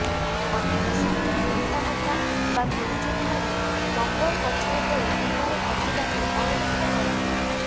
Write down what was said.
ଅନେକ ସମୟରେ ପିତା ମାତା ବା ଗୁରୁଜନମାନେ ନମ୍ୱର ପଛରେ ପଡି ପିଲାର ପ୍ରତିଭାକୁ ଅଣଦେଖା କରନ୍ତି